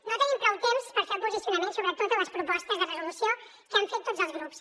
no tenim prou temps per fer el posicionament sobre totes les propostes de resolució que han fet tots els grups